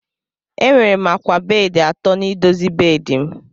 Enwere m akwa bedị atọ n'ịdozi bedị m.